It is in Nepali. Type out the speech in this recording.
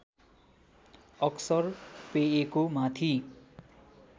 अक्सर पेयको माथि